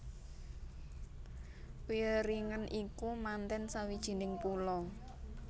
Wieringen iku manten sawijining pulo